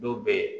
Dɔw bɛ yen